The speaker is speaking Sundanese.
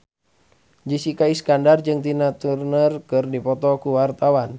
Jessica Iskandar jeung Tina Turner keur dipoto ku wartawan